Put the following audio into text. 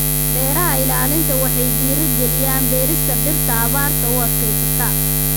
Beeraha ilaalinta waxay dhiirigeliyaan beerista dhirta abaarta u adkaysata.